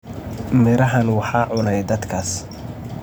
Midhahan waxaa cunay dadkaas.